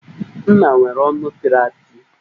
M̀má nwere ọnụ pịrị apị